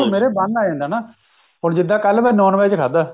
ਮੇਰੇ ਬਣਨ ਲਗ ਜਾਂਦਾ ਨਾ ਜਿੱਦਾਂ ਮੈਂ ਕੱਲ non veg ਖਾਦਾ